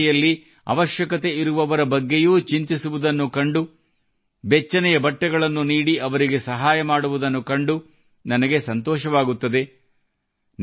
ಜನರು ನೆರೆಹೊರೆಯಲ್ಲಿ ಅವಶ್ಯಕತೆಯಿರುವವರ ಬಗ್ಗೆಯೂ ಚಿಂತಿಸುವುದನ್ನು ಕಂಡು ಬೆಚ್ಚನೆಯ ಬಟ್ಟೆಗಳನ್ನು ನೀಡಿ ಅವರಿಗೆ ಸಹಾಯ ಮಾಡುವುದನ್ನು ಕಂಡು ನನಗೆ ಸಂತೋಷವಾಗುತ್ತದೆ